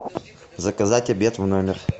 заказать обед в номер